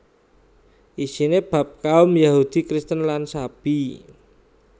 Isiné bab kaum Yahudi Kristen lan Sabi